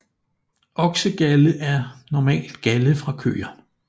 Oksegalde er normalt galde fra køer